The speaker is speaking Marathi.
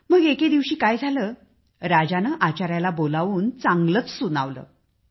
मग एके दिवशी काय झाले राजाने आचाऱ्याला बोलावे आणि चांगलेच सुनावले